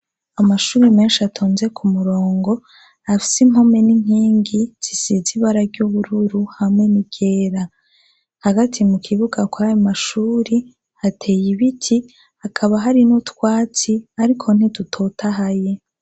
Amashure menshi atonze kumurongo afise impome n'inkingi zisize ibara ry'ubururu hamwe ni ryera hagati mukibuga kwayo mashure hateye ibiti hakaba hari utwatsi Ariko ntidutotahaye.